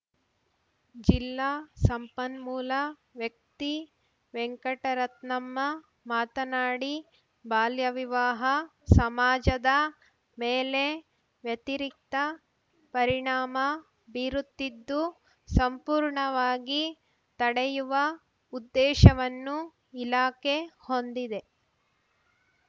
ಜಿಲ್ಲಾ ಸಂಪನ್ಮೂಲ ವ್ಯಕ್ತಿ ವೆಂಕಟರತ್ನಮ್ಮ ಮಾತನಾಡಿ ಬಾಲ್ಯವಿವಾಹ ಸಮಾಜದ ಮೇಲೆ ವ್ಯತಿರಿಕ್ತ ಪರಿಣಾಮ ಬೀರುತ್ತಿದ್ದು ಸಂಪೂರ್ಣವಾಗಿ ತಡೆಯುವ ಉದ್ದೇಶವನ್ನು ಇಲಾಖೆ ಹೊಂದಿದೆ